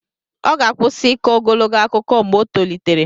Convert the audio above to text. Ọ ga-akwụsị ịkọ ogologo akụkọ mgbe o tolitere.